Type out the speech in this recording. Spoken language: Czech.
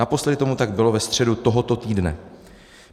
Naposledy tomu tak bylo ve středu tohoto týdne.